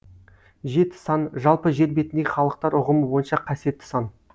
жеті саны жалпы жер бетіндегі халықтар ұғымы бойынша қасиетті сан